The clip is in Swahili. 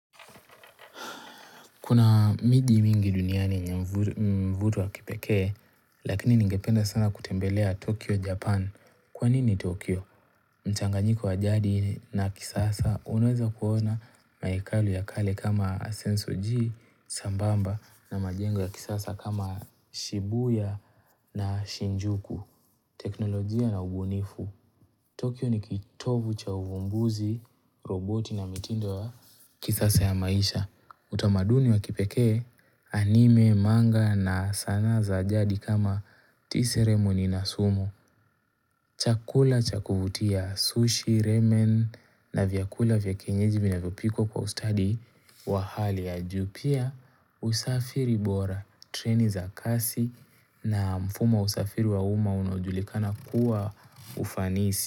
Kuna miji mingi duniani yenye mvuto wa kipekee, lakini ningependa sana kutembelea Tokyo, Japan. Kwa nini Tokyo? Mchanganyiko wa jadi na kisasa unaweza kuona maekali ya kale kama Asenso G, sambamba na majengo ya kisasa kama Shibuya na Shinjuku. Teknolojia na ubunifu. Tokyo ni kitovu cha uvumbuzi, roboti na mitindo ya kisasa ya maisha. Utamaduni wa kipekee anime, manga na sanaa za jadi kama tea ceremony na sumo. Chakula chakuvutia sushi, ramen na vyakula vyakienyeji vinavyo pikokwa kwa ustadi wa hali. Juu pia usafiri bora, treni za kasi na mfumo wa usafiri wa uma unaojulikana kuwa ufanisi.